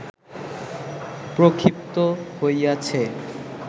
প্রক্ষিপ্ত হইয়াছে